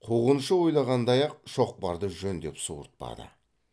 қуғыншы ойлағандай ақ шоқпарды жөндеп суыртпады